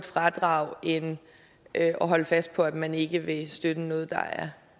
fradrag end at holde fast på at man ikke vil støtte noget